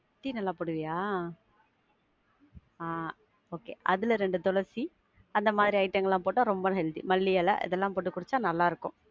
Tea நல்லா போடுவியா? ஆஹ் அதுல ரெண்டு துளசி, அந்த மாதிரி item ங்கள்லாம் போட்டா ரொம்ப healthy மல்லி இல, இதுலாம் போட்டு குடிச்சா ரொம்ப நல்லா இருக்கும்.